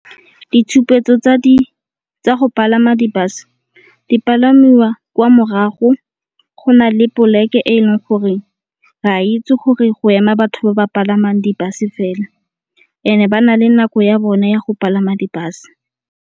Ditshupetso tsa go palama di-bus di palamiwa kwa morago, go na le poleke e leng gore re a itse gore go ema batho ba ba palamang di-bus fela e ne ba na le nako ya bona ya go palama di-bus.